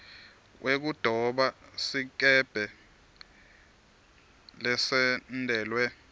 wekudoba sikebhe lesentelwe